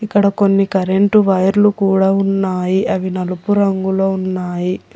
ఇక్కడ కొన్ని కరెంటు వైర్లు కూడా ఉన్నాయి అవి నలుపు రంగులో ఉన్నాయి.